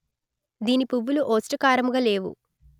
దీని పువ్వులు ఓష్టకారముగ లేవు